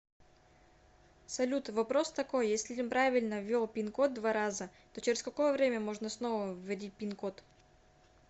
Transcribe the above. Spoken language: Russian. салют вопрос такой если неправильно ввел пин код два раза то через какое время можно снова вводить пин код